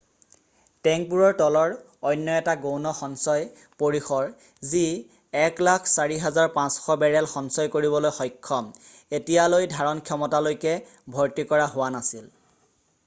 টেংকবোৰৰ তলৰ অন্য এটা গৌণ সঞ্চয় পৰিসৰ যি 104,500 বেৰেল সঞ্চয় কৰিবলৈ সক্ষম এতিয়ালৈ ধাৰণ ক্ষমতালৈকে ভৰ্তি কৰা হোৱা নাছিল